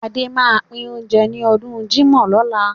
Adé máa pín oúnjẹ ní ọdún jímọ̀ lọ́la.